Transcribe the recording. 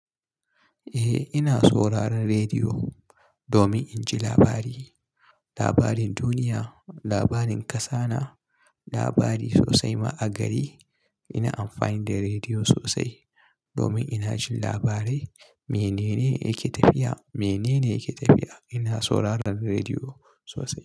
Eh ina sauraron rediyo domin in ji labari, labarin duniya, labarin ƙasa na, labari sosai ma 'a gari. Ina amfani da rediyo sosai domin ina jin labarai. Mene ne yake tafiya? Mene ne yake tafiya? Ina sauraron rediyo sosai.